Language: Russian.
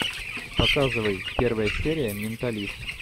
показывай первая серия менталист